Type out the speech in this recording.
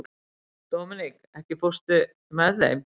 Dominik, ekki fórstu með þeim?